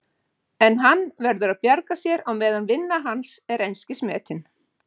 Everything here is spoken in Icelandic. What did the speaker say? En hann verður að bjarga sér á meðan vinna hans er einskis metin.